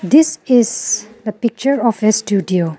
this is the picture of a studio.